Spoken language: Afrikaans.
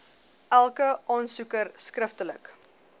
elke aansoeker skriftelik